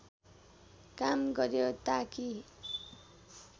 काम गर्‍यो ताकि